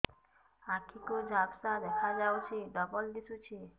ଆଖି କୁ ଝାପ୍ସା ଦେଖାଯାଉଛି ଡବଳ ଦିଶୁଚି